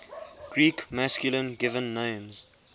greek masculine given names